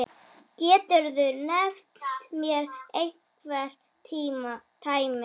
Geturðu nefnt mér einhver dæmi?